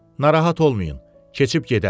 Narahat olmayın, keçib gedər.